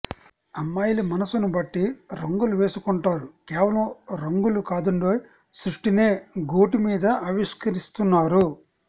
అమ్మాయిల మనసును బట్టి రంగులు వేసుకొంటారు కేవలం రంగులు కాదండోయ్ సృష్టినే గోటి మీద ఆవిష్కరిస్తున్నారు